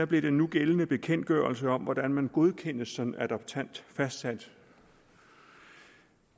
blev den nugældende bekendtgørelse om hvordan man godkendes som adoptant fastsat